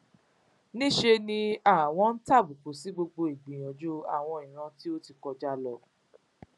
ní í ṣe ni àwọn ń tàbùkù sí gbogbo ìgbìyànjú àwọn ìran tó ti kọjá lọ